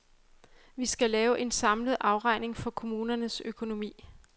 Vi skal lave en samlet afregning for kommunernes økonomi.